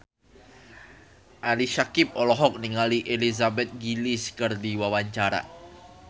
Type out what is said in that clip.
Ali Syakieb olohok ningali Elizabeth Gillies keur diwawancara